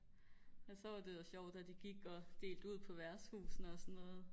men så var det jo sjovt at de gik og delte ud på værtshusene og sådan noget